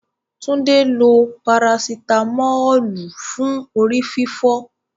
Túndé lo Parasitamọ́ọ̀lù fún orí fífọ́.